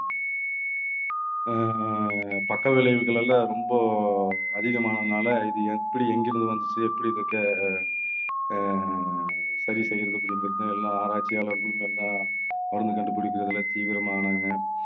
ஆஹ் பக்க விளைவுகள் எல்லாம் ரொம்ப அதிகமானதுனால இது எப்படி எங்கிருந்து வந்துச்சு எப்படி இருக்க அஹ் அஹ் சரி செய்யறது அப்படிங்கறது எல்லா ஆராய்ச்சியாளர்களும் நல்லா மருந்து கண்டுபிடிக்கறதுல தீவிரமானாங்க.